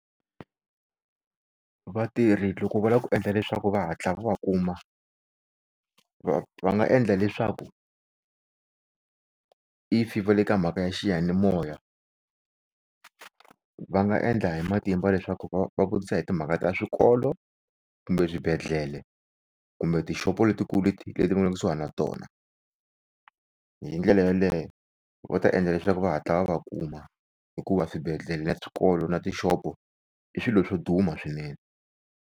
Vatirhi loko va lava ku endla leswaku va hatla va va kuma, va va nga endla leswaku if va le ka mhaka ya xiyanimoya va nga endla hi matimba leswaku va va vutisa hi timhaka ta swikolo kumbe swibedhlele kumbe tixopo letikulu leti leti mi nga le kusuhini na tona, hindlela yaleyo va ta endla leswaku va hatla va kuma hikuva swibedhlele na swikolo na tixopo i swilo swo duma swinene.